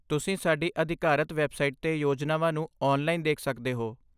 ਤੁਸੀਂ ਸਾਡੀ ਅਧਿਕਾਰਤ ਵੈੱਬਸਾਈਟ 'ਤੇ ਯੋਜਨਾਵਾਂ ਨੂੰ ਔਨਲਾਈਨ ਦੇਖ ਸਕਦੇ ਹੋ।